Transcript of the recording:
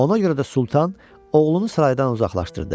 Ona görə də sultan oğlunu saraydan uzaqlaşdırdı.